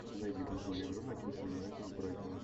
найди футбольную игру манчестер юнайтед с брайтоном